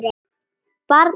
Barn: Einar.